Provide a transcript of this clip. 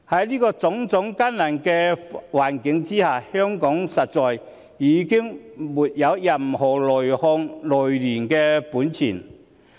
在種種艱難的環境下，香港實在已經沒有任何內訌、內亂的本錢。